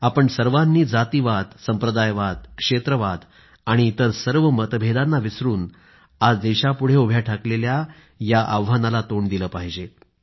आपण सर्वांनी जातीवाद संप्रदायवाद क्षेत्रवाद आणि इतर सर्व मतभेदांना विसरून आज देशापुढे उभे ठाकलेल्या या आव्हानाला तोंड दिलं पाहिजे